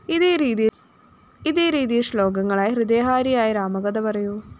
ഇതേരീതിയില്‍ ശ്ലോകങ്ങളായി ഹൃദയഹാരിയായ രാമകഥ പറയൂ